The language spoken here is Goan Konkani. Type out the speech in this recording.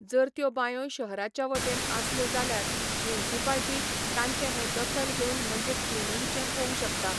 जर त्यो बांयो शहराच्या वाटेन आसल्यो जाल्यार मुन्सिपाल्टी ताचें हे दखल घेवन म्हणजे क्लिनिंगचें पोंग शकता.